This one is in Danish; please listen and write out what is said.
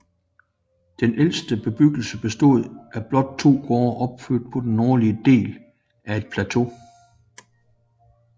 Den ældste bebyggelse bestod af blot to gårde opført på den nordlige del af et plateau